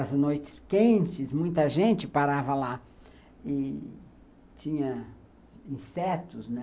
As noites quentes, muita gente parava lá e tinha insetos, né?